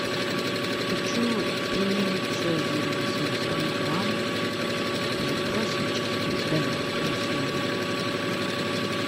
хочу пельмени цезарь восемьсот грамм классические с говядиной свининой